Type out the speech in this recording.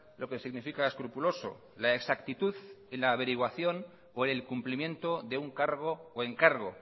lo que significa escrupuloso la exactitud en la averiguación o el cumplimiento de un cargo o encargo